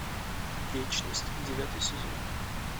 вечность девятый сезон